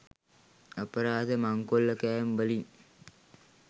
අපරාධ මංකොල්ලකෑම් වලින්